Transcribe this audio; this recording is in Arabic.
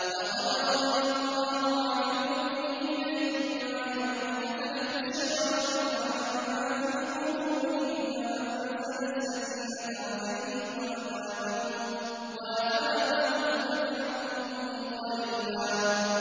۞ لَّقَدْ رَضِيَ اللَّهُ عَنِ الْمُؤْمِنِينَ إِذْ يُبَايِعُونَكَ تَحْتَ الشَّجَرَةِ فَعَلِمَ مَا فِي قُلُوبِهِمْ فَأَنزَلَ السَّكِينَةَ عَلَيْهِمْ وَأَثَابَهُمْ فَتْحًا قَرِيبًا